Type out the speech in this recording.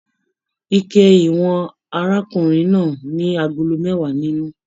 Ike ìwọ̀n arákùnrin náà ní agolo mẹwa nínú.